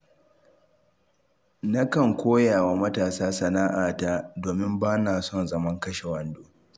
Nakan koyawa matasa sana'ata, domin ba na son zaman kashe wando